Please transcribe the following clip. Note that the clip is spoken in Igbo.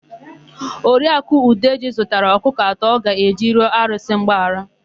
Oriaku Udeji zụtara ọkụkọ atọ ọ ga-eji rịọ arụsị mgbaghara.